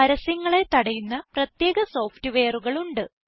പരസ്യങ്ങളെ തടയുന്ന പ്രത്യേക സോഫ്റ്റ്വെയറുകൾ ഉണ്ട്